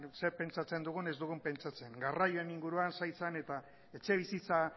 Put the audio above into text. zer pentsatzen dugun ez dugun pentsatzen garraioen inguruan saizan eta etxebizitza